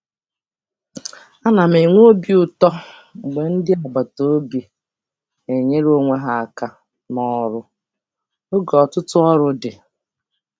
Ana m enwe obi ụtọ mgbe ndị agbataobi na-enyere onwe ha aka n'ọrụ oge ọtụtụ ọrụ dị.